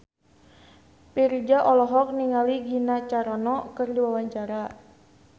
Virzha olohok ningali Gina Carano keur diwawancara